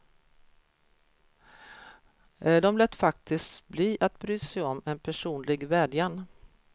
De lät faktiskt bli att bry sig om en personlig vädjan.